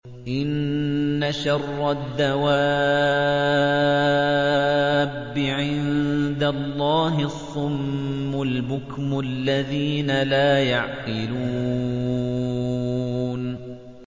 ۞ إِنَّ شَرَّ الدَّوَابِّ عِندَ اللَّهِ الصُّمُّ الْبُكْمُ الَّذِينَ لَا يَعْقِلُونَ